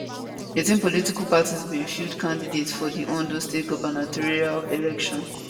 18 political parties bin field candidates for di ondo state gubernatorial election